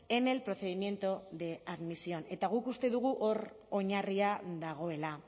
en el procedimiento de admisión eta guk uste dugu hor oinarria dagoela